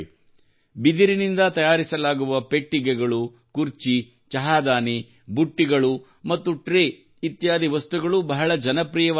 ಬಿದಿರಿನಿಂದ ತಯಾರಿಸಲಾಗುವ ಪೆಟ್ಟಿಗೆಗಳು ಕುರ್ಚಿ ಚಹಾದಾನಿ ಬುಟ್ಟಿಗಳು ಮತ್ತು ಟ್ರೇ ಇತ್ಯಾದಿ ವಸ್ತುಗಳು ಬಹಳ ಜನಪ್ರಿಯವಾಗುತ್ತಿವೆ